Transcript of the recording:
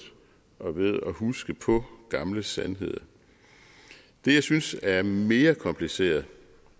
og ved at huske på gamle sandheder det jeg synes er mere kompliceret